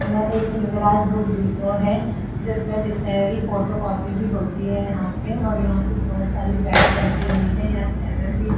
Depot है जिसमें photocopy भी होती है। यहां पे और यहां पे बहुत सारी बैट भी रखी हुई है। यहां कैरम भी --